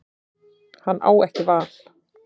Hann á ekki val.